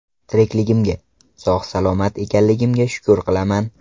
Tirikligimga, sog‘-salomat ekanligimga shukr qilaman!